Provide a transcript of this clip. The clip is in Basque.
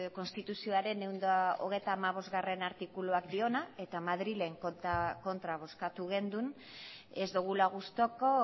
konstituzioaren ehun eta hogeita hamabostgarrena artikuluak dioena eta madrilen kontra bozkatu genuen ez dugula gustuko